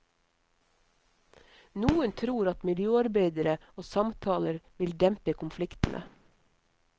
Noen tror at miljøarbeidere og samtaler vil dempe konfliktene.